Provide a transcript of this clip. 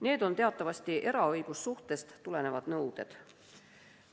Need on teatavasti eraõigussuhtest tulenevad nõuded.